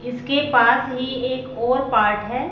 इसके पास ही एक और पार्ट है।